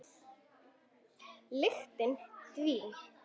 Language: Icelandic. Lyktin dvín.